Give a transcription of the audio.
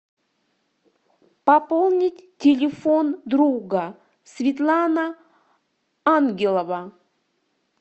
пополнить телефон друга светлана ангелова